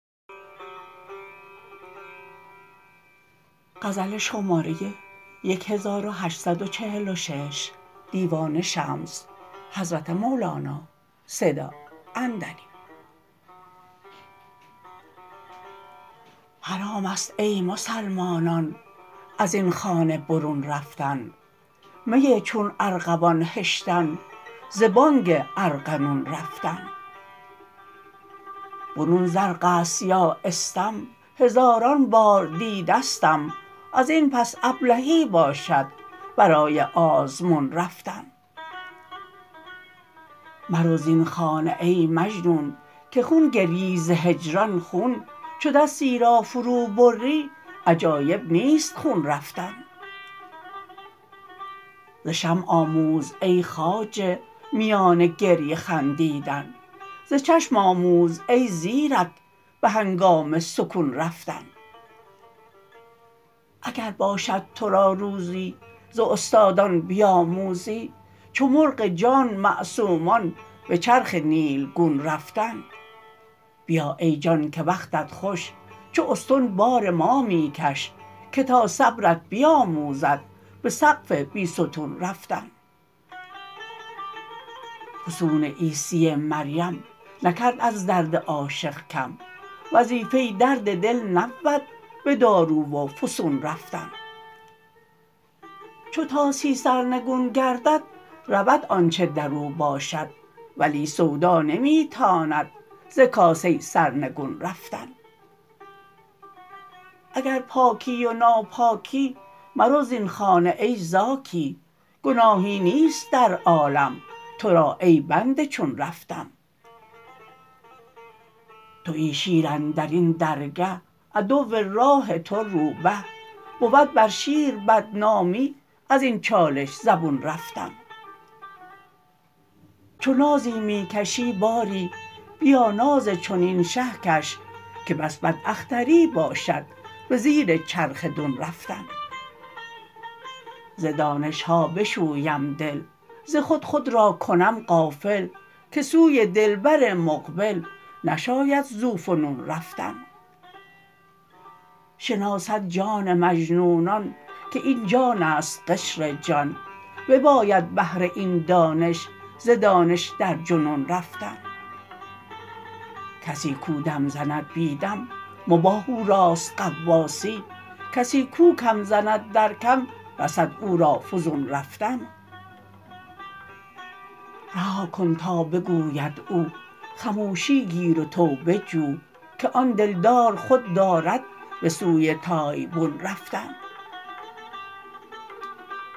حرام است ای مسلمانان از این خانه برون رفتن می چون ارغوان هشتن ز بانگ ارغنون رفتن برون زرق است یا استم هزاران بار دیده ستم از این پس ابلهی باشد برای آزمون رفتن مرو زین خانه ای مجنون که خون گریی ز هجران خون چو دستی را فروبری عجایب نیست خون رفتن ز شمع آموز ای خواجه میان گریه خندیدن ز چشم آموز ای زیرک به هنگام سکون رفتن اگر باشد تو را روزی ز استادان بیاموزی چو مرغ جان معصومان به چرخ نیلگون رفتن بیا ای جان که وقتت خوش چو استن بار ما می کش که تا صبرت بیاموزد به سقف بی ستون رفتن فسون عیسی مریم نکرد از درد عاشق کم وظیفه درد دل نبود به دارو و فسون رفتن چو طاسی سرنگون گردد رود آنچ در او باشد ولی سودا نمی تاند ز کاسه سر نگون رفتن اگر پاکی و ناپاکی مرو زین خانه ای زاکی گناهی نیست در عالم تو را ای بنده چون رفتن توی شیر اندر این درگه عدو راه تو روبه بود بر شیر بدنامی از این چالش زبون رفتن چو نازی می کشی باری بیا ناز چنین شه کش که بس بداختری باشد به زیر چرخ دون رفتن ز دانش ها بشویم دل ز خود خود را کنم غافل که سوی دلبر مقبل نشاید ذوفنون رفتن شناسد جان مجنونان که این جان است قشر جان بباید بهر این دانش ز دانش در جنون رفتن کسی کو دم زند بی دم مباح او راست غواصی کسی کو کم زند در کم رسد او را فزون رفتن رها کن تا بگوید او خموشی گیر و توبه جو که آن دلدار خو دارد به سوی تایبون رفتن